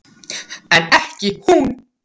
En ekki hún.